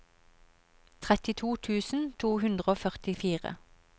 trettito tusen to hundre og førtifire